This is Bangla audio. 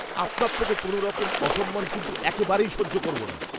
আপনার থেকে কোনোরকম অসম্মান কিন্তু একেবারেই সহ্য করব না।